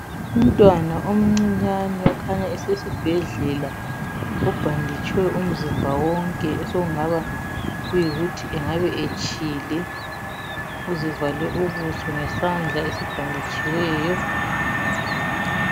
Umntwana omncinyane okhanya esesibhedlela ubhanditshwe umzimba wonke osokungabayikuthi angabe etshile uzivale ubuso ngezandla esibhanditshiweyo.